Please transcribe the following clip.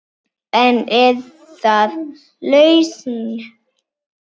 En er það lausn?